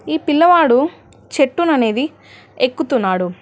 ఈ పిల్లవాడు చెట్టును అనేది ఎక్కుతున్నాడు.